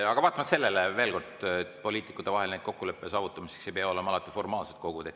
Aga vaatamata sellele, veel kord: poliitikute vahel kokkuleppe saavutamiseks ei pea alati olema formaalsed kogud.